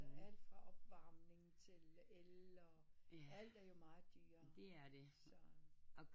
Alt fra opvarming til el og alt er jo meget dyrt